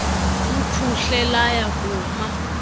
luphuhle lwaya kuma